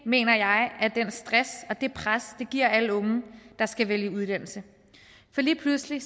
mener jeg er den stress og det pres det giver alle unge der skal vælge uddannelse for lige pludselig